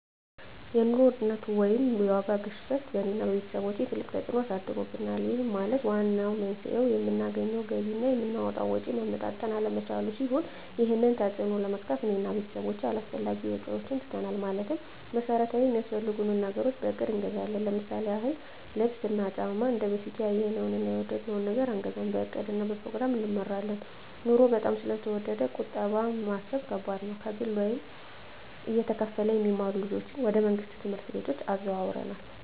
የኑሮ ውድነት ወይም የዋጋ ግሽበት በእኔ እና በቤተሰቦቸ ትልቅ ተፅእኖ አሳድሮብናል ይህም ማለት ዋነኛው መንስኤው የምናገኘው ገቢ እና የምናወጣው ወጪ መመጣጠን አለመቻሉን ሲሆን ይህንን ተፅዕኖ ለመግታት እኔ እና ቤተሰቦቸ አላስፈላጊ ወጪዎችን ትተናል ማለትም መሠረታዊ ሚያስፈልጉንን ነገሮች በእቅድ እንገዛለን ለምሳሌ ያክል ልብስ እና ጫማ እንደበፊቱ ያየነውን እና የወደድነውን ነገር አንገዛም በእቅድ እና በፕሮግራም እንመራለን ኑሮው በጣም ስለተወደደ ቁጠባ መሣብ ከባድ ነው። ከግል ወይም እየተከፈለ የሚማሩ ልጆችን ወደ መንግሥት ትምህርት ቤቶች አዘዋውረናል።